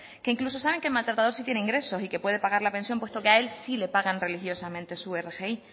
que incluso saben que el maltratador sí tiene ingresos y que puede pagar la pensión puesto que a él sí le pagan religiosamente su rgi